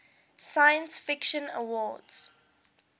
science fiction awards